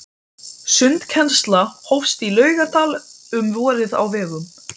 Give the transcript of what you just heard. Sundkennsla hófst í Laugardal um vorið á vegum